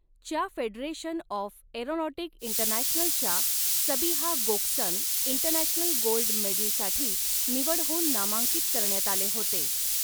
च्या federation of aeronautic इंटरनॅशनलच्या Sabiha Gokcen international gold medal साठी निवड होऊन नामांकित करण्यात आले होते.